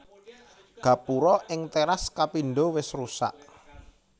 Gapura ing téras kapindho wis rusak